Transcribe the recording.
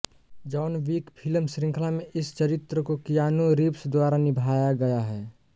John Wick film श्रृंखला में इस चरित्र को कियानू रीव्स द्वारा निभाई गया है